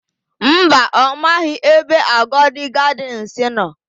Mba, ọ maghị ebe Agodi Gadịnsị nọ.